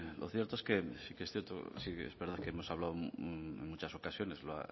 lo cierto es que sí que es cierto sí que es verdad que hemos hablado en muchas ocasiones